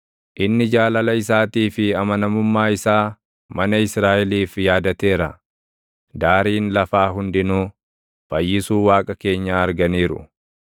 Inni jaalala isaatii fi amanamummaa isaa mana Israaʼeliif yaadateera; daariin lafaa hundinuu, fayyisuu Waaqa keenyaa arganiiru.